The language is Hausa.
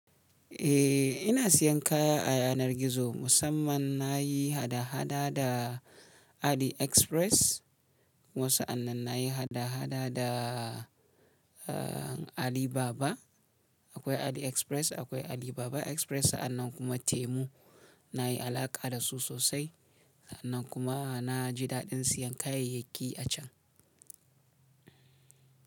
Eh ina siyan kaya a yanar gizo musamman na yi hada-hada da AliExpress. Wasu anan na yi hada-hada da Alibaba. Akwai AliExpress akwai Alibaba Express sa'annan kuma Temu na yi alaƙa da su sosai. Sa'annan kuma na ji daɗin siyan kayayyaki a can.